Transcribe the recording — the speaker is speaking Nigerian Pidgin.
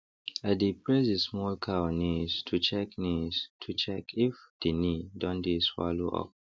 i dey press the small cow knees to check knees to check if the knee don dey swallow up